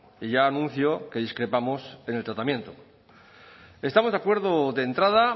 y ya anuncio que discrepamos en el tratamiento estamos de acuerdo de entrada